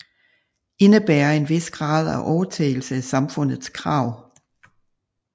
Indebærer en vis grad af overtagelse af samfundets krav